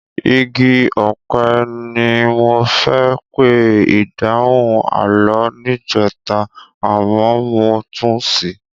Igi ọ̀pẹ gan-an ni mo fẹ́ pe ìdáhùn àlọ́ rẹ níjẹta àmọ́ mo tún ṣì í.